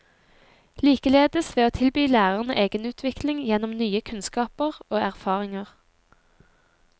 Likeledes ved å tilby lærerne egenutvikling gjennom nye kunnskaper og erfaringer.